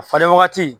A falen wagati